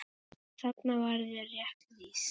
Þarna var þér rétt lýst.